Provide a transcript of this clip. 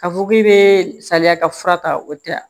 K'a fɔ k'i bɛ salaya ka fura ta o tɛ a